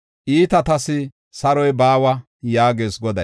“Iitatas saroy baawa” yaagees Goday.